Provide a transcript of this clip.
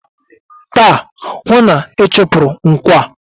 Taa, hụụ na-ịchụpụrụ nkwọ a!